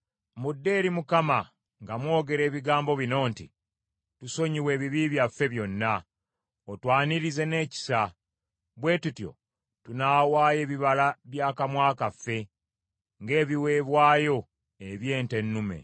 Mudde eri Mukama nga mwogera ebigambo bino nti, “Tusonyiwe ebibi byaffe byonna, otwanirize n’ekisa, bwe tutyo tunaawaayo ebibala by’akamwa kaffe, ng’ebiweebwayo eby’ente ennume.